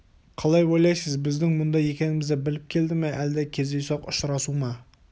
қалай ойлайсыз біздің мұнда екенімізді біліп келді ме әлде кездейсоқ ұшырасу ма